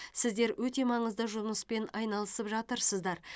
сіздер өте маңызды жұмыспен айналысып жатырсыздар